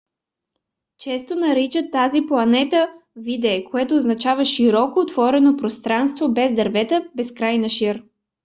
често наричат тези плата vidde което означава широко отворено пространство без дървета безкрайна шир